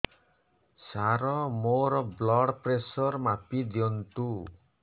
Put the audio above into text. ସାର ମୋର blood pressure ମାପି ଦିଅନ୍ତୁ